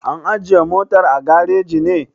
An ajiye motar a gareji ne?